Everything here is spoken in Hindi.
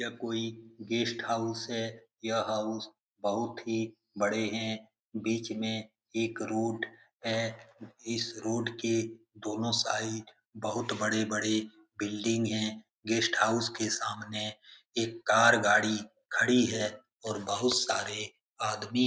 ये कोई गेस्ट हाउस है यह हाउस बहुत ही बड़े हैं बीच में एक रोड है इस रोड के दोनों साइड बहुत बड़े-बड़े बिल्डिंग हैं गेस्ट हाउस के सामने एक कार गाड़ी खड़ी है और बहुत सारे आदमी --